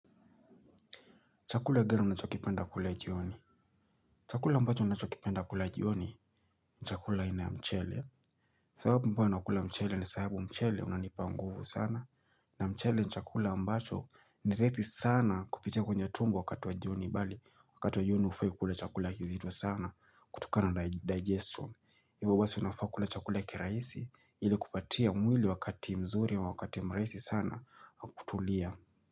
Chakula gani unachokipenda kula jioni. Chakula ambacho nachokipenda kula jioni chakula aina ya mchele. Sababu ambayo nakula mchele ni sahabu mchele unanipa nguvu sana. Na mchele ni chakula ambacho ni raizi sana kupitia kwenye tumbo wakati wajioni bali. Wakati wa jioni hufai kukula chakula kizito sana kutokana na digestion. Iwa wasi unafakula chakula kiraisi ili kupatia mwili wakati mzuri wa wakati mraisi sana wa kutulia.